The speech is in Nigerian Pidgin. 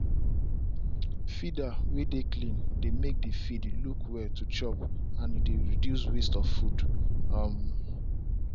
feeder way dey clean dey make the feed look well to chop and e dey reduce waste of food um